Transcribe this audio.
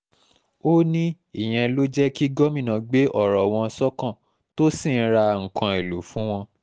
ó ní ìyẹn ló jẹ́ kí gómìnà gbé ọ̀rọ̀ wọn sọ́kàn tó sì ń ra nǹkan èèlò fún wọn